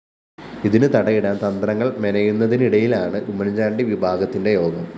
ഇതിന് തടയിടാന്‍ തന്ത്രങ്ങള്‍ മെനയെന്നുതിനിടയിലാണ് ഉമ്മന്‍ചാണ്ടി വിഭാഗത്തിന്റെ യോഗം